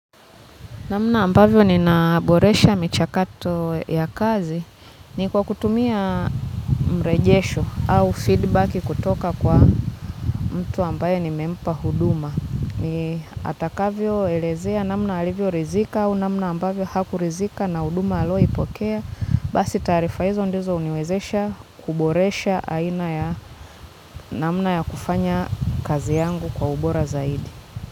Namna ambavyo ni naboresha michakato ya kazi ni kwa kutumia mrejesho au feedback kutoka kwa mtu ambaye nimempa huduma. Atakavyo elezea jinsi alivyo ridhika au namna ambavyo hakuridhika na huduma alizozipokea basi taarifa hizo ndizo uniwezesha kuboresha aina ya namna ya kufanya kazi yangu kwa ubora zaidi.